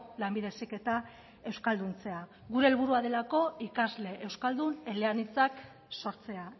lanbide heziketa euskalduntzea gure helburua delako ikasle euskaldun eleanitzak sortzea